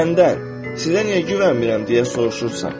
Məndən sizə niyə güvənmirəm deyə soruşursan.